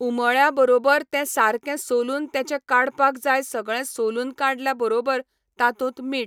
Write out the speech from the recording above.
उमळ्या बरोबर ते सारकें सोलून तेचें काडपाक जाय सगळें सोलून काडल्या बरोबर तातूंत मीठ